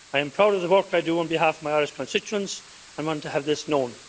I am proud of the work I do on behalf of my Irish constituents and want to have this known.